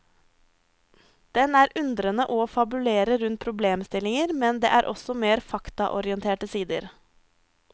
Den er undrende og fabulerer rundt problemstillinger, men det er også mer faktaorienterte sider.